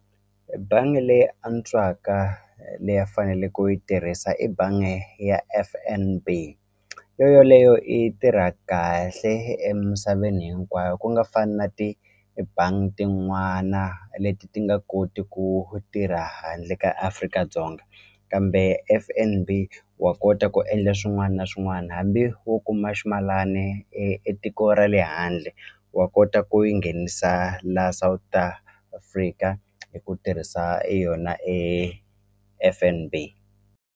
E bangi leyi antswaka leyi a fanele ku yi tirhisa i bangi ya F_N_B yo yoleyo i tirha kahle emisaveni hinkwayo ku nga fani na ti-bank tin'wana leti ti nga koti ku tirha handle ka Afrika-Dzonga kambe F_N_B wa kota ku endla swin'wana na swin'wana hambi wo kuma ximalani e e tiko ra le handle wa kota ku yi nghenisa la South Africa hi ku tirhisa yona F_N_B